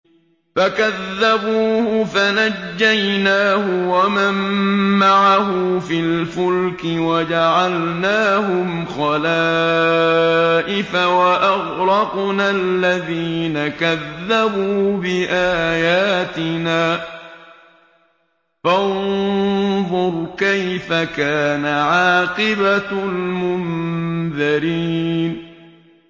فَكَذَّبُوهُ فَنَجَّيْنَاهُ وَمَن مَّعَهُ فِي الْفُلْكِ وَجَعَلْنَاهُمْ خَلَائِفَ وَأَغْرَقْنَا الَّذِينَ كَذَّبُوا بِآيَاتِنَا ۖ فَانظُرْ كَيْفَ كَانَ عَاقِبَةُ الْمُنذَرِينَ